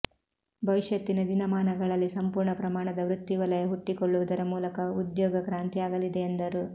ಭವಿಷ್ಯತ್ತಿನ ದಿನಮಾನಗಳಲ್ಲಿ ಸಂಪೂರ್ಣ ಪ್ರಮಾಣದ ವೃತ್ತಿವಲಯ ಹುಟ್ಟಿಕೊಳ್ಳುವುದರ ಮೂಲಕ ಉದ್ಯೋಗ ಕ್ರಾಂತಿಯಾಗಲಿದೆ ಎಂದರು